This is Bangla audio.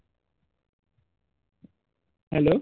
Hello